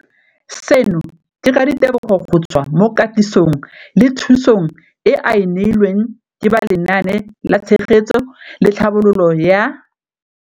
Seno ke ka ditebogo go tswa mo katisong le thu song eo a e neilweng ke ba Lenaane la Tshegetso le Tlhabololo ya.